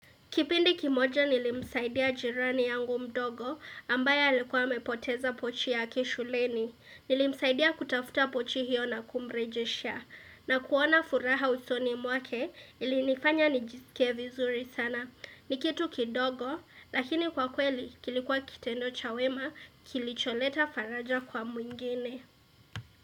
Kipindi kimoja nilimsaidia jirani yangu mdogo ambaye alikuwa mepoteza pochi ya kishuleni. Nilimsaidia kutafuta pochi hiyo na kumrejeshea. Na kuona furaha usoni mwake ilinifanya nijisikie vizuri sana. Nikitu kidogo lakini kwa kweli kilikuwa kitendo chawema kilicholeta faraja kwa mwingine.